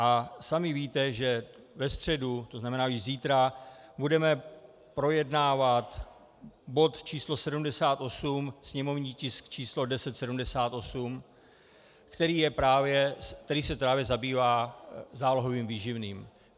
A sami víte, že ve středu, to znamená již zítra, budeme projednávat bod číslo 78, sněmovní tisk číslo 1078, který se právě zabývá zálohovým výživným.